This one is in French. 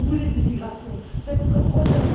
Vous voulez de l'immigration, c'est votre projet.